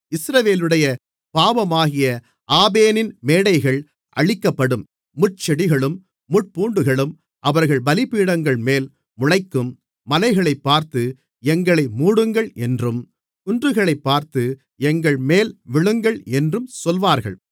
இஸ்ரவேலுடைய பாவமாகிய ஆபேனின் மேடைகள் அழிக்கப்படும் முட்செடிகளும் முட்பூண்டுகளும் அவர்கள் பலிபீடங்களின்மேல் முளைக்கும் மலைகளைப்பார்த்து எங்களை மூடுங்கள் என்றும் குன்றுகளைப்பார்த்து எங்கள்மேல் விழுங்கள் என்றும் சொல்வார்கள்